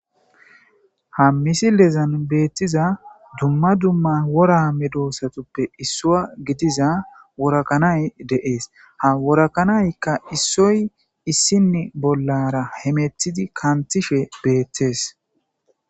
ha misilezan beettiza dumma dumma wora midosatuppe issua gidiza worakanay deees ha worakanaykka issoy issinne bollara hemethidi kantishe beettees